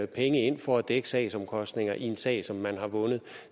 penge ind for at dække sagsomkostningerne i en sag som man har vundet